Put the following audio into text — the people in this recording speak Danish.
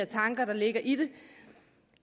tanker der ligger i det